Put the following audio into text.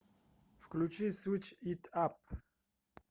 включи свич ит ап